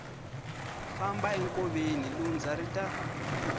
famba enkoveni lundza ri ta